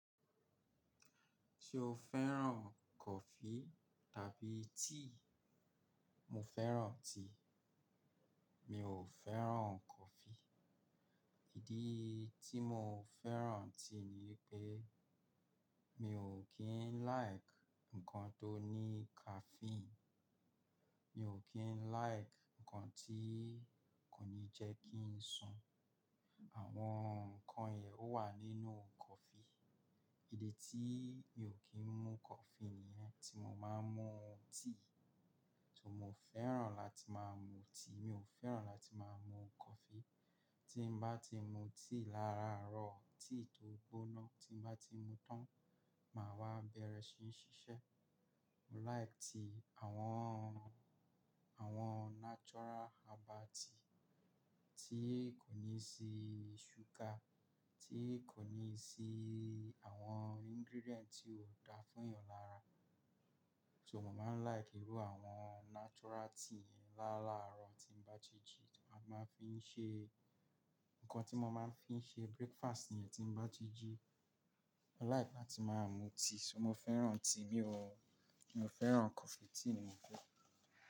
Ṣé o fẹ́ràn coffee tàbí tíì? Mo fẹ́ràn tea. Mi ò fẹ́ràn coffee. Ìdí tí mo fẹ́ràn tíì ni pé mi ò kín like ǹkan tó ní caffeine. Mi ò kín like ǹkan tí kò ní jẹ́ kí ń sùn. Àwọn ǹkan yìí ó wà nínú coffee. Ìdí tí mi ò kín mú coffee nìyẹn. Tí mo máa ń mú tíì. Tí mo fẹ́ràn láti máa ń mu tíì, mi ò fẹ́ràn láti máa ń mu coffee. Tí bá ti mu tíì láàárọ̀, tíì tó gbóná, tí bá ti mu tán, màá wá bẹ̀rẹ̀ ṣí ń ṣiṣẹ́. Mo like tíì àwọn, àwọn natural herbal tíì tí kò ní sí ṣúgà, tí kò ní sí àwọn ingredient tí ó da fún ẹ̀yàn lára. So mo máa ń like irú àwọn natural tíì yẹn. Láàárọ̀ tí bá ti jí, màá máa fi ń ṣe ǹkan tí mo máa ń fi ń ṣe breakfast nìyẹn tí bá ti jí. Mo like láti máa ń mu tíì. So mo fẹ́ràn tíì, mi ò, mi ò fẹ́ràn coffee. Tíì ni mò ń mu.